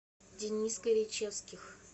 денис горячевских